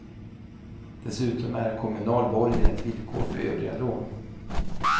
Dessutom är kommunal borgen ett villkor för övriga lån.